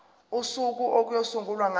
usuku okuyosungulwa ngalo